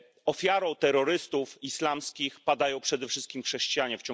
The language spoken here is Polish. Ofiarą terrorystów islamskich padają przede wszystkim chrześcijanie.